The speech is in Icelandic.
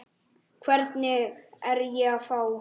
Hvern er ég að fá?